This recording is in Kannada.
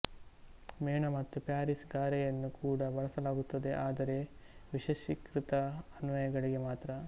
ಮೇಣ ಮತ್ತು ಪ್ಯಾರಿಸ್ ಗಾರೆಯನ್ನು ಕೂಡ ಬಳಸಲಾಗುತ್ತದೆ ಆದರೆ ವಿಶೇಷೀಕೃತ ಅನ್ವಯಗಳಿಗೆ ಮಾತ್ರ